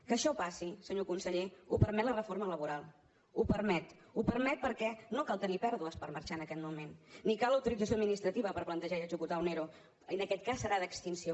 que això passi senyor conseller ho permet la reforma laboral ho permet ho permet perquè no cal tenir pèrdues per marxar en aquest moment ni cal autorització administrativa per plantejar i executar un ero en aquest cas serà d’extinció